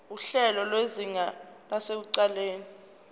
nguhlelo lwezinga lasekuqaleni